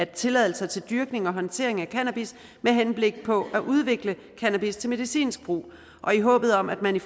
tilladelse til dyrkning og håndtering af cannabis med henblik på at udvikle cannabis til medicinsk brug og i håbet om at man i